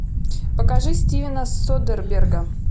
покажи стивена содерберга